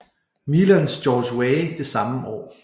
Milans George Weah det samme år